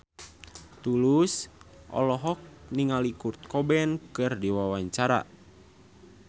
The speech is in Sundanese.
Tulus olohok ningali Kurt Cobain keur diwawancara